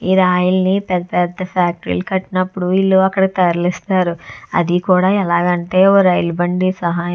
ఈ రాయల్ని పెద్ద పెద్ద ఫ్యాక్టరీ లు కట్టినప్పుడు ఇల్లు అక్కడ తరలిస్తారు అది కూడా ఎలాగంటే ఓ రైలు బండి సహాయం --